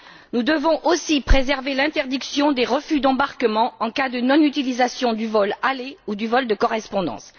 Nous devons aussi préserver l'interdiction des refus d'embarquement en cas de non utilisation du vol aller ou du vol de correspondance.